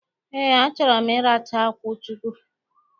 Ee, achọrọ m ịracha akwụ chukwu.